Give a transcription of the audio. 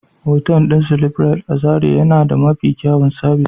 otal din "sleeprite" a zarai yana da Mafi kyawun sabis.